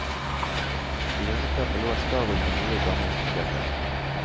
I hjørneskapet lå en stabel med nye og gamle hyttebøker.